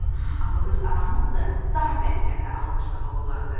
Amma öz aramızdır, daha bərkdən də alqışlamaq olardı.